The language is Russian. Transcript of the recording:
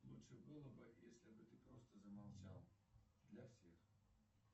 лучше было бы если бы ты просто замолчал для всех